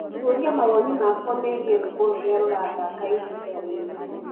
tuuria mawoni makwa meegĩe rwĩmbo rũrĩa rurathakaĩhĩnda riri